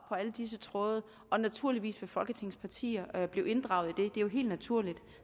alle disse tråde og naturligvis vil folketingets partier blive inddraget i det det er jo helt naturligt